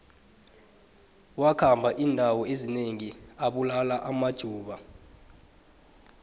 wakhamba indawo ezinengi abulala amajuda